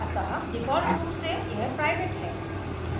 अतः default रूप से यह प्राइवेट है